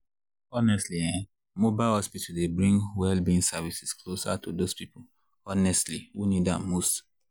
honestly[um]mobile hospital dey bring well-being services closer to those people honestly who need am most.